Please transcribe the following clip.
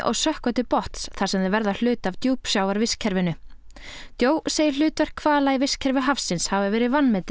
sökkva til botns þar sem þau verða hluti af djúpsjávarvistkerfinu joe segir hlutverk hvala í vistkerfi hafsins hafa verið vanmetið